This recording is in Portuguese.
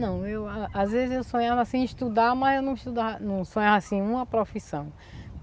Não, eu às vezes eu sonhava em estudar, mas eu não estuda, sonhava assim, em uma profissão.